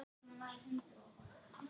Hvað viljiði kalla mig?